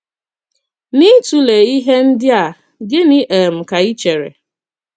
N’ịtụle ihe ndị a, gịnị um ka ị chere?